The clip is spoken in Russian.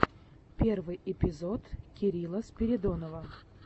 первый эпизод кирилла спиридонова